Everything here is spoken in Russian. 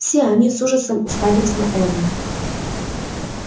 все они с ужасом уставились на эрни